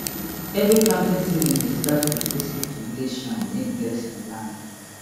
every planting season dey start with visit to village shrine make blessing land